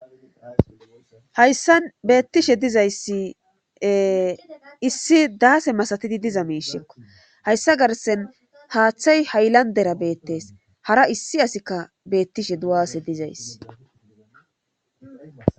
hayssan beettishe dizayssi e issi daase masatidi diza miishekko hayssa garsen haaththay hayllandera beettees hara issi asikka beettishe du7aasi dizayssi